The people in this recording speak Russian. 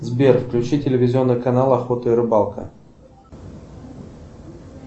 сбер включи телевизионный канал охота и рыбалка